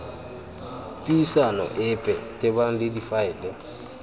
puisano epe tebang le difaele